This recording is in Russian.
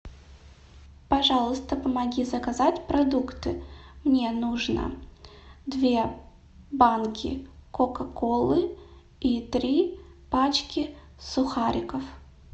пожалуйста помоги заказать продукты мне нужно две банки кока колы и три пачки сухариков